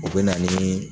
U bɛ na ni